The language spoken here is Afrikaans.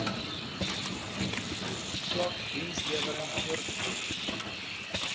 swak dienslewering voorgekom